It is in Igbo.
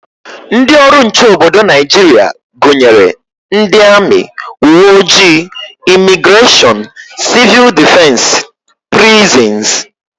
Ndị ọrụ nche obodo Naijiria gụnyere ndị amị, uwe ojii, imigreshọn, sịvụl dịfensị, prizins